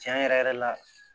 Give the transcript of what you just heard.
Tiɲɛ yɛrɛ yɛrɛ la